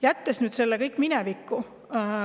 Jätame nüüd selle kõik minevikku.